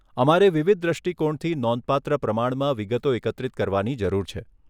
અમારે વિવિધ દ્રષ્ટિકોણથી નોંધપાત્ર પ્રમાણમાં વિગતો એકત્રિત કરવાની જરૂર છે.